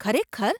ખરેખર ?